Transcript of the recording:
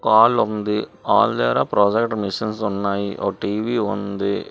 Hall ఉంది hall దగ్గర projector machines ఉన్నాయి ఓ టీవీ ఉంది.